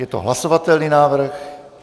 Je to hlasovatelný návrh.